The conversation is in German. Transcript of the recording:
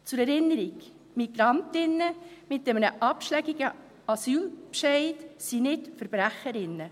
Zur Erinnerung: MigrantInnen mit einem abschlägigen Asylbescheid sind nicht VerbrecherInnen.